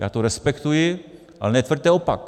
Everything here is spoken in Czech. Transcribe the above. Já to respektuji, ale netvrďte opak.